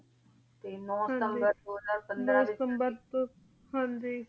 T ਨੂੰ ਟੀ ਦੋ ਹਜ਼ਾਰ ਪੰਦਰਾਂ ਹਨ ਜੀ